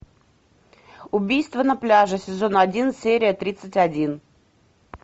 убийство на пляже сезон один серия тридцать один